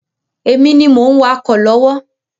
Èmi ni mo ń wakọ̀ lọ́wọ́